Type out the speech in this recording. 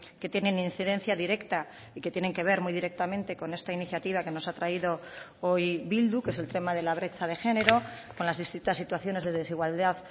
que tienen incidencia directa y que tienen que ver muy directamente con esta iniciativa que nos ha traído hoy bildu que es el tema de la brecha de género con las distintas situaciones de desigualdad